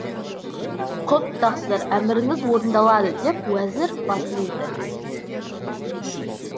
құп тақсыр әміріңіз орындалады деп уәзір басын иді